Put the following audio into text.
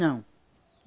Não.